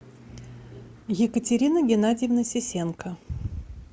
екатерина геннадьевна сисенко